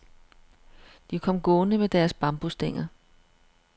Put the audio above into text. De kom gående med deres bambusstænger.